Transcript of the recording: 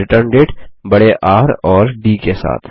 या रिटर्नडेट बड़े र और डी के साथ